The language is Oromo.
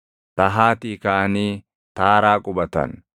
Tahaatii kaʼanii Taaraa qubatan.